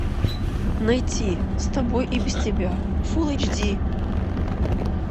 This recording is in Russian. найти с тобой и без тебя фул эйч ди